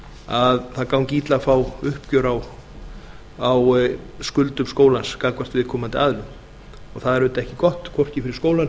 að það gangi illa að fá uppgjör á skuldum skólans gagnvart viðkomandi aðilum og það er auðvitað ekki gott hvorki fyrir skólann